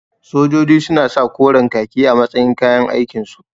Sojoji suna sa koren ƙaki a matsayin kayan aikin su